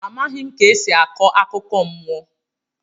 Amaghị ka esi akọ akụkọ mmụọ.